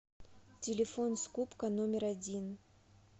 телефон скупка номер один